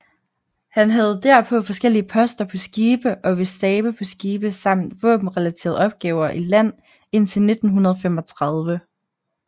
Han havde derpå forskellige poster på skibe og ved stabe på skibe samt våbenrelaterede opgaver i land indtil 1935